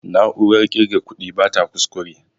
Na'urar ƙirga kuɗi bata ƙusƙure